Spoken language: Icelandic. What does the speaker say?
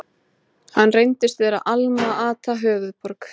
Hann reyndist vera Alma-Ata, höfuðborg